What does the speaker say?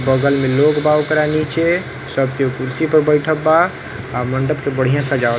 बगल में लोग बा ओकरा नीचे। सब कोई कुर्सी पे बैठल बा। आ मंडप के बढ़िया सजावल --